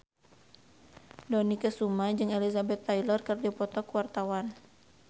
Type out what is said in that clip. Dony Kesuma jeung Elizabeth Taylor keur dipoto ku wartawan